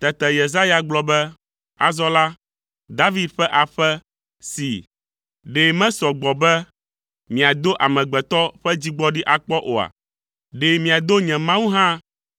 Tete Yesaya gblɔ be “Azɔ la, David ƒe aƒe, see. Ɖe mesɔ gbɔ be miado amegbetɔ ƒe dzigbɔɖi akpɔ oa? Ɖe miado nye Mawu hã